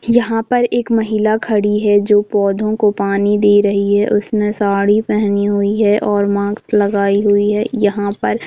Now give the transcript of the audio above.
यहाँ पर एक महीला खड़ी है जो पौधो को पानी दे रही है उसने साड़ी पहनी हुई है और मास्क लगाई हुई है यहां पर--